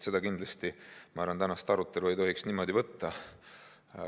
Ma arvan, et tänast arutelu ei tohiks kindlasti niimoodi võtta.